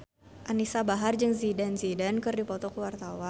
Anisa Bahar jeung Zidane Zidane keur dipoto ku wartawan